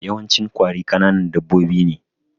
Yawancin ƙwari kananan dabbobi ne